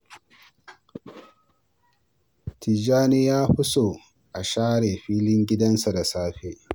Tijjani ya fi so a share filin gidan nasa da safe.